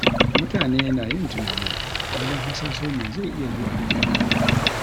Mutane na yin tunani wajen hasaso me zai iya zuwa ya dawo